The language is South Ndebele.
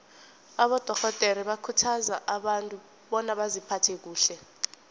abadorhodere bakhuthaza abantu bona baziphathe kuhle